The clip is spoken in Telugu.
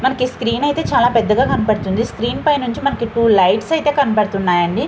మనకి ఈ స్క్రీన్ ఐతే చాలా పెద్దగా కనపడుతుంది. స్క్రీన్ పై నుంచి టూ లైట్స్ అయితే కనబడుతున్నాయి అండి.